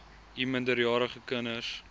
u minderjarige kinders